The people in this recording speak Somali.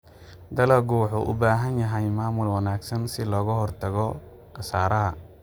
Dalaggu wuxuu u baahan yahay maamul wanaagsan si looga hortago khasaaraha.